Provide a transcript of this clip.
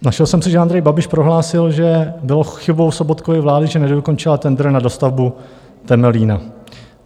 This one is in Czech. Našel jsem si, že Andrej Babiš prohlásil, že bylo chybou Sobotkovy vlády, že nedokončila tendr na dostavbu Temelína.